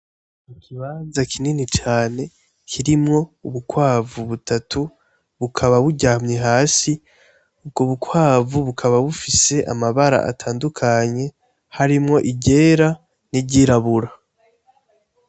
Mukibaza kinini cane kirimwo ubukwavu butatu bukaba buryamye hasi ubwo bukwavu bukaba bufise amabara atandukanye harimwo iryera n'iryirabura.